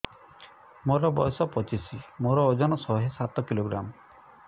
ମୋର ବୟସ ପଚିଶି ମୋର ଓଜନ ଶହେ ସାତ କିଲୋଗ୍ରାମ